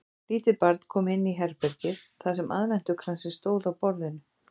Lítið barn kom inn í herbergið þar sem aðventukransinn stóð á borðinu.